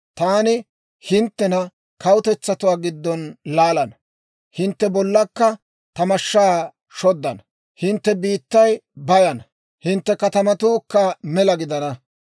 Taani hinttena kawutetsatuwaa giddon laalana; hintte bollankka ta mashshaa shoddana. Hintte biittay bayana; hintte katamatuukka mela gidana.